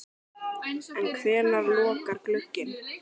En hvenær lokar glugginn?